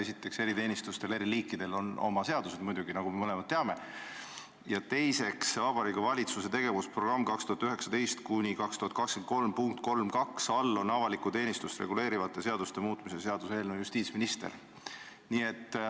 Esiteks, eriteenistuste eri liikidel on muidugi oma seadused, nagu me mõlemad teame, ja teiseks, Vabariigi Valitsuse tegevusprogrammi 2019–2023 punkt 3.2 all on kirjas: avalikku teenistust reguleerivate seaduste muutmise seaduse eelnõu, vastutaja justiitsminister.